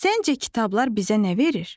Səncə kitablar bizə nə verir?